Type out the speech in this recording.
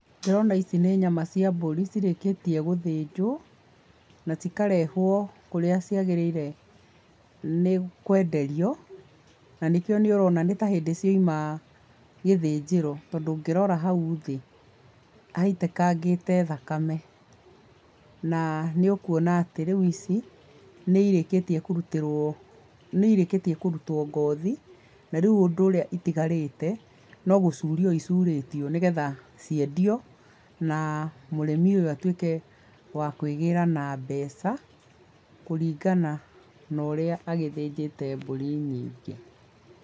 Ndĩrona ici nĩ nyama cia mbũri, cirĩkĩtie gũthĩnjwo, na cikarehwo kũrĩa ciagĩrĩire nĩ kwenderio, na nĩkĩo nĩ ũrona nĩtahĩndĩ ciauma gĩthĩnjĩro tondũ ũngĩrora hau thĩ haitĩkangĩte thakame, na nĩ ũkwona atĩ rĩũ ici , nĩ irĩkĩtie kũrutĩrwo, nĩ irĩkĩtie kũrutwo ngothi na rĩu ũndũ ũrĩa ũtigarĩte, no gũcurio icurĩtio nĩgetha, ciendio na mũrĩmi ũyũ atuĩke wa kwĩgĩra na mbeca, kũringana na ũrĩa agĩthĩnjĩte mbũri nyingĩ.